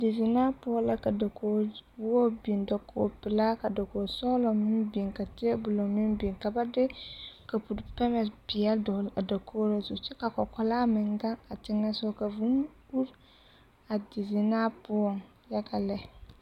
Dezenaa poɔ la ka dakogi wogi biŋ dakogi pelaa ka dakogi sɔgelaa meŋ biŋ ka teebolo meŋ biŋ ka ba de kapuri pɛmɛ peɛle a dɔgele a dakogiri zu kyɛ k'a kɔkɔlaa meŋ gaŋ a teŋɛsogɔ ka vūū uri a dizenaa poɔŋ yaga lɛ.